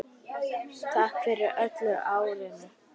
Takk fyrir öll árin.